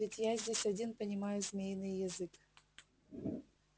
ведь я здесь один понимаю змеиный язык